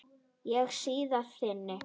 Ég bíð þín.